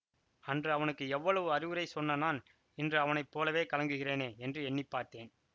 அன்று அவனுக்கு எவ்வளவு அறிவுரை சொன்ன நான் இன்று அவனை போலவே கலங்குகிறேனே என்று எண்ணி பார்த்தேன்